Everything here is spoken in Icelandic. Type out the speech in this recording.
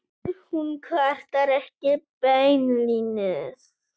Hún kvartar ekki beinlínis.